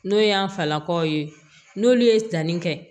N'o y'an falakaw ye n'olu ye tannin kɛ